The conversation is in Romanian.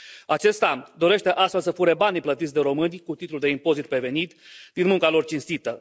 Acesta dorește astfel să fure banii plătiți de români, cu titlu de impozit pe venit, din munca lor cinstită.